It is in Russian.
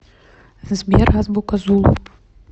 сбер азбука зулу